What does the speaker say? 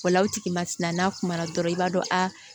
O la o tigi ma sin na n'a kuma na dɔrɔn i b'a dɔn aa